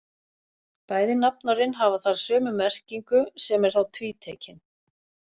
Bæði nafnorðin hafa þar sömu merkingu sem er þá tvítekin.